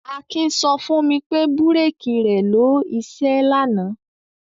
Akin sọ fún mi pé búrékì rẹ̀ lọ iṣẹ́ lánàá.